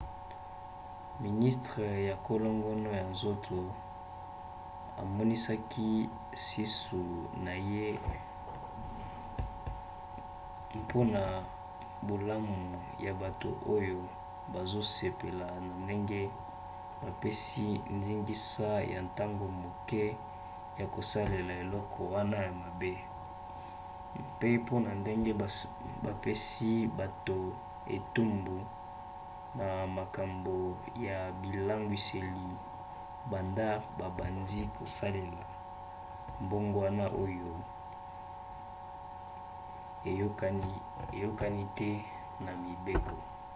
ministre ya kolongono ya nzoto amonisaki susi na ye mpona bolamu ya bato oyo bazosepela na ndenge bapesi ndingisa ya ntango moke ya kosalela eloko wana ya mabe pe mpona ndenge bapesi bato etumbu na makambo ya bilangwiseli banda babandi kosalela mbongwana oyo eyokani te na mibeko